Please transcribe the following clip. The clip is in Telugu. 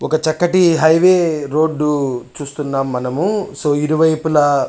ఒక చక్కటి హైవే రోడ్ చూస్తున్నాం మనము సో ఇరి వైపులా --